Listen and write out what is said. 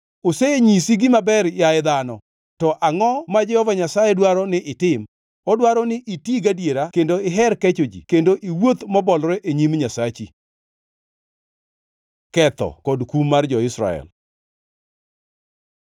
Osenyisi gima ber yaye dhano. To angʼo ma Jehova Nyasaye dwaro ni itim? Odwaro ni iti gadiera kendo iher kecho ji kendo iwuoth mobolore e nyim Nyasachi. Ketho kod kum mar jo-Israel